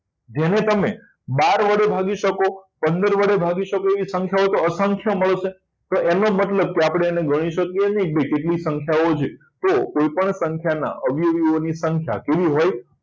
જેને તમે બાર વડે ભાગી શકો પંદર વડે ભાગી શકો એ સંખ્યાઓ તો અસંખ્ય હોય મળશે તો એનો મતલબ કે આપણે ગણી શકીએ નહીં કે કેટલી સંખ્યાઓ છે તો કોઈપણ સંખ્યાના અવયવોની સંખ્યા કેવી હોય